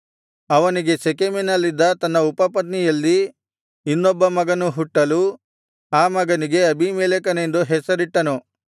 ಅವನಿಗೆ ಶೆಕೆಮಿನಲ್ಲಿದ್ದ ತನ್ನ ಉಪಪತ್ನಿಯಲ್ಲಿ ಇನ್ನೊಬ್ಬ ಮಗನು ಹುಟ್ಟಲು ಆ ಮಗನಿಗೆ ಅಬೀಮೆಲೆಕನೆಂದು ಹೆಸರಿಟ್ಟನು